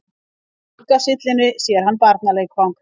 Á gluggasyllunni sér hann barnaleikfang.